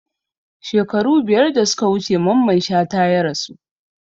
Shekaru biyar da suka wuce Mamman Shata ya rasu